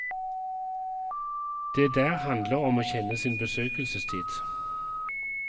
Det der handler om å kjenne sin besøkelsestid.